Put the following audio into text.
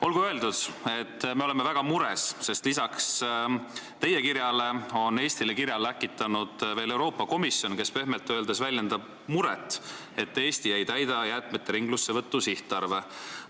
Olgu öeldud, et me oleme väga mures, sest lisaks teile on Eestile kirja läkitanud veel Euroopa Komisjon, kes pehmelt öeldes väljendab muret, et Eesti ei täida jäätmete ringlusse võtmise sihtarve.